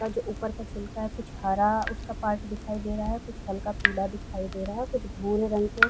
अ जो ऊपर का छिलका है कुछ हरा उसका पार्ट दिखा दे रहा है कुछ हल्का पीला दिखाई दे रहा है कुछ भूरे रंग के --